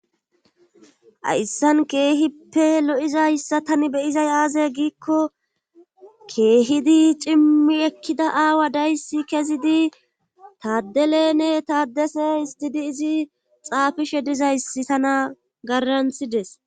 Hayssan keehippe lo'zayssa be'izayssi aaze giiko keehidi cimi ekida aawa dayssi kezidi tadelenne tadesse izidi xaafishe dizayssi tana garantides.